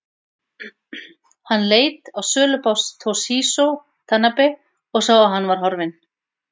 Hann leit á sölubás Toshizo Tanabe og sá að hann var horfinn.